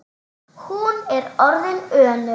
Hún er orðin önug.